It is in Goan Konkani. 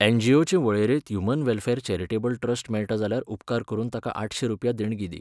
एनजीओचे वळेरेंत ह्यूमन वॅलफॅर चॅरिटेबल ट्रस्ट मेळटा जाल्यार उपकार करून ताका आठशें रुपया देणगी दी.